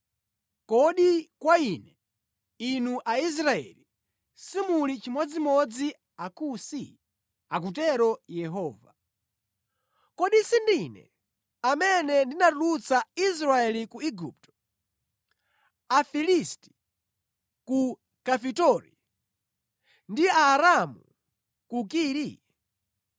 “Kodi kwa Ine, inu Aisraeli, simuli chimodzimodzi ndi Akusi?” Akutero Yehova. “Kodi sindine amene ndinatulutsa Israeli ku Igupto, Afilisti ku Kafitori ndi Aaramu ku Kiri?